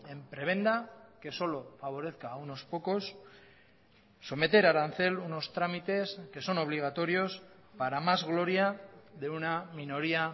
en prebenda que solo favorezca a unos pocos someter a arancel unos trámites que son obligatorios para más gloria de una minoría